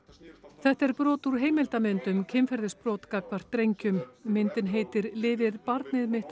þetta er brot úr heimildarmynd um kynferðisbrot gagnvart drengjum myndin heitir lifir barnið